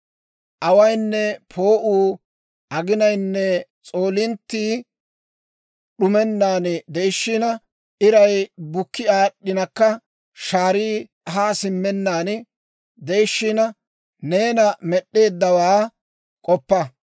awaynne poo'uu, aginayinne s'oolinttii d'umennan de'ishiina, iray bukki aad'd'inakka shaarii haa simmennaan de'ishiina, neena Med'd'eeddawaa k'oppa.